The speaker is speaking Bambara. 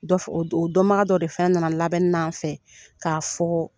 Dɔ, o dɔnbaga dɔ de fɛnɛ nana labɛnnina an fɛ ka fɔ